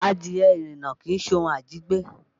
Adìẹ ìrànà kìí ṣe ohun àjẹgbé